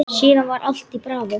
Síðan var allt bravó.